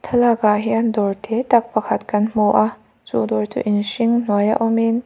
thlalak ah hian dawr te tak pakhat kan hmu a chu dawr chu in hring hnuai a awmin ch--